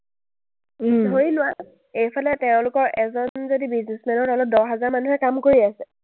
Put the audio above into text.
ধৰি লোৱা, এইফালে তেওঁলোকৰ এজন যদি businessman ৰ লগত দহ হাজাৰ মানুহে কাম কৰি আছে,